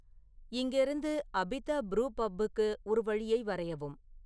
இங்கேருந்து Abita Brew பப்பிற்கு ஒரு வழியை வரையவும்